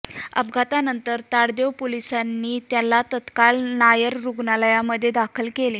अपघातानंतर ताडदेव पोलिसांनी त्यांना तात्काळ नायर रुग्णालयामध्ये दाखल केले